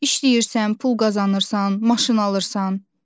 İşləyirsən, pul qazanırsan, maşın alırsan.